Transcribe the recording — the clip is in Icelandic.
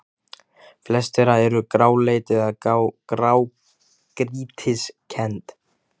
Flest þeirra eru gráleit eða grágrýtiskennd.